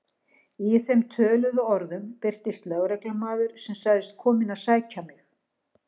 Í þeim töluðu orðum birtist lögreglumaður sem sagðist kominn að sækja mig.